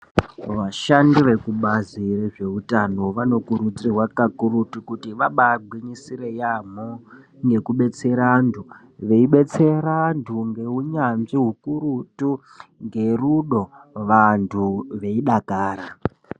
Vashandi vekubazi rezveutano vanokurudzirwa kakurutu kuti vabaagwinyisire yaamho ngekudetsera antu, veibetsere vantu ngeunyanzvi hukurutu, ngerudo, vantu veidakara.